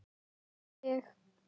Og ég.